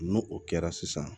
N'o o kɛra sisan